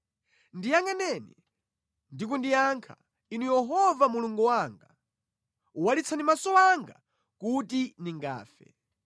Ndiyangʼaneni ndi kundiyankha, Inu Yehova Mulungu wanga. Walitsani maso anga kuti ndingafe;